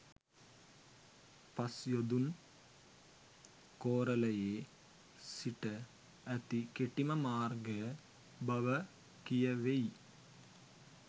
පස්යොදුන් කෝරලයේ සිට ඇති කෙටිම මාර්ගය බව කියැවෙයි.